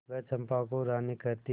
वह चंपा को रानी कहती